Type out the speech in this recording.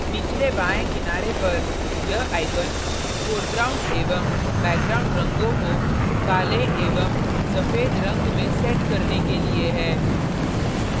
निचले बाएं किनारे पर यह icon foreground एवं background रंगों को काले एवं सफ़ेद रंग में left करने के लिए है